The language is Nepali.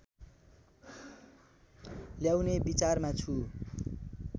ल्याउने विचारमा छु